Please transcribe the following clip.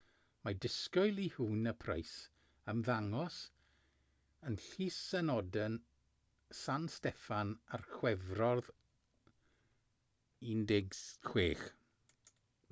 mae disgwyl i huhne a pryce ymddangos yn llys ynadon san steffan ar chwefror 16